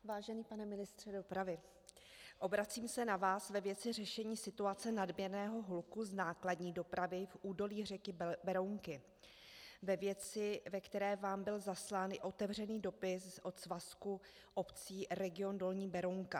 Vážený pane ministře dopravy, obracím se na vás ve věci řešení situace nadměrného hluku z nákladní dopravy v údolí řeky Berounky, ve věci, ve které vám byl zaslán i otevřený dopis od svazku obcí Region dolní Berounka.